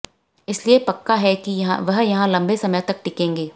इसीलिए पक्का है कि वह यहां लंबे समय तक टिकेंगे